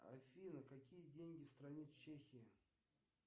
афина какие деньги в стране чехия